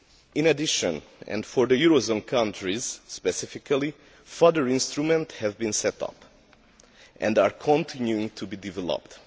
In addition, and for the eurozone countries specifically, further instruments have been set up and are continuing to be developed.